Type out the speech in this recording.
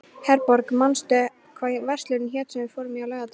Herborg, manstu hvað verslunin hét sem við fórum í á laugardaginn?